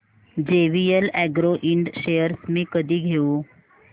JVL agro ind shares मी कधी घेऊ